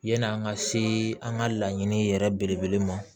Yani an ka se an ka laɲini yɛrɛ belebele ma